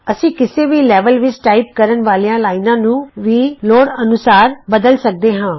ਅਸੀਂ ਕਿਸੇ ਵੀ ਲੈਵਲ ਵਿਚ ਟਾਈਪ ਕਰਨ ਵਾਲੀਆਂ ਲਾਈਨਾਂ ਨੂੰ ਵੀ ਲੋੜ ਅਨੂਸਾਰ ਬਦਲ ਸਕਦੇ ਹਾਂ